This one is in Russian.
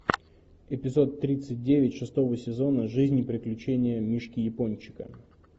эпизод тридцать девять шестого сезона жизнь и приключения мишки япончика